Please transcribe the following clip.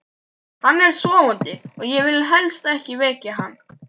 Hann er sofandi og ég vil helst ekki vekja hann.